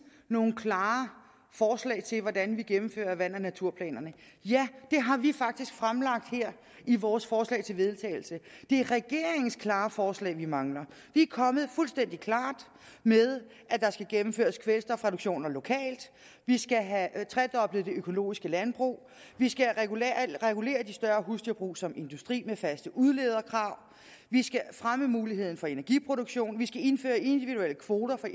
nogle klare forslag til hvordan vi gennemfører vand og naturplanerne ja det har vi faktisk fremlagt her i vores forslag til vedtagelse det er regeringens klare forslag vi mangler vi er kommet fuldstændig klart med at der skal gennemføres kvælstofreduktioner lokalt vi skal have tredoblet det økologiske landbrug vi skal regulere de større husdyrbrug som industri med faste udlederkrav vi skal fremme muligheden for energiproduktion vi skal indføre individuelle kvoter